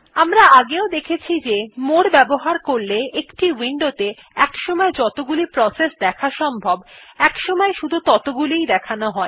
আমরা আগেও দেখেছি যে মোরে বাবহার করলে একটি উইন্ডো তে একসময় যতগুলি প্রসেস দেখা সম্ভব একসময় শুধু ততগুলিই দেখানো হয়